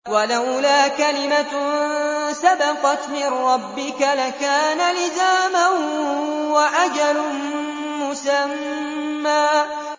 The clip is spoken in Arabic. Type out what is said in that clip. وَلَوْلَا كَلِمَةٌ سَبَقَتْ مِن رَّبِّكَ لَكَانَ لِزَامًا وَأَجَلٌ مُّسَمًّى